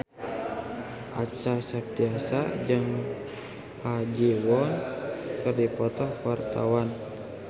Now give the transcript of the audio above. Acha Septriasa jeung Ha Ji Won keur dipoto ku wartawan